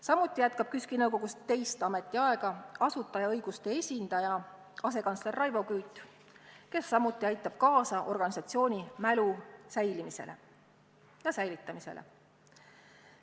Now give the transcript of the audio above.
Samuti jätkab KÜSK-i nõukogus teist ametiaega asutajaõiguste esindaja, asekantsler Raivo Küüt, kes samuti aitab kaasa organisatsiooni mälu säilimisele ja säilitamisele.